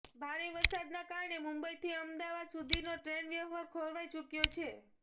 ભારે વરસાદના કારણે મુંબઈથી અમદાવાદ સુધીનો ટ્રેન વ્યવહાર ખોરવાઈ ચૂક્યો છે